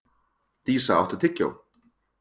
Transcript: Dísa, áttu tyggjó?